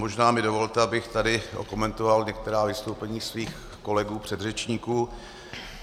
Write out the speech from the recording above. Možná mi dovolte, abych tady okomentoval některá vystoupení svých kolegů předřečníků.